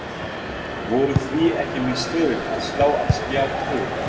Voru því ekki mistök að slá af Skjá tvo?